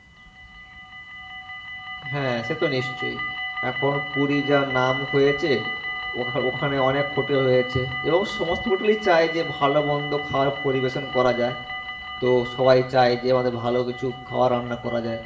হ্যাঁ সে তো নিশ্চয় এখন পুরি যা নাম হয়েছে ওখা~ওখানে অনেক hotel হয়েছে এবং সমস্ত hotel ই চাই যে ভালোমন্দ খাওয়ায় পরিবেশন করা যাই তো সবাই চাই যে ভালো কিছু খাওয়ার রান্না করা যাই,